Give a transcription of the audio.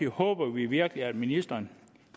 håber vi virkelig at ministeren